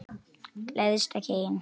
Gleðst ekki ein.